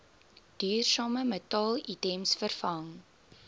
duursame metaalitems vervang